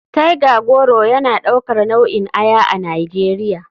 Tiger goro yana daukar nau'in aya a nigeria.